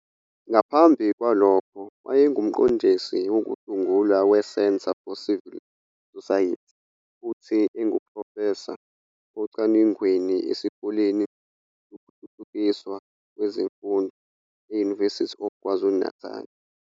Ngaphambi kwalokho, wayengumqondisi wokusungula weCentre for Civil Society futhi enguprofesa ocwaningweni eSikoleni Sokuthuthukiswa Kwezemfundo e-University of KwaZulu-Natal.